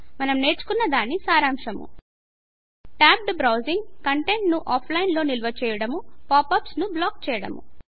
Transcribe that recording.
మనము నేర్చుకున్న దాని సారాంశము టాబ్డ్ బ్రౌజింగ్ కంటెంట్ ను ఆఫ్లైన్ లో నిల్వ చేయడం పాప్ అప్స్ ను బ్లాక్ చేయడము